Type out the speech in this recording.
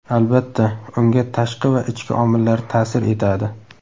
Albatta, unga tashqi va ichki omillar ta’sir etadi.